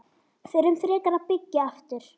Förum frekar að byggja aftur.